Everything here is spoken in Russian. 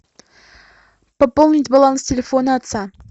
пополнить баланс телефона отца